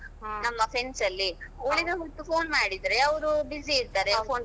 ನಮ್ಮ friends ಅಲ್ಲಿ.